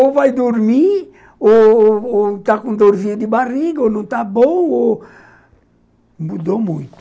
Ou vai dormir, ou ou ou está com dorzinha de barriga, ou não está bom, ou... Mudou muito.